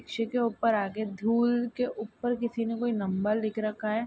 रिक्शे के ऊपर आगे धूल के ऊपर किसी ने कोई नंबर लिख रखा है।